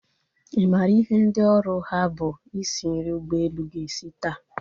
Ị maara ihe ndị oru ha bụ isi nri ụgbọelu ga-esi taa?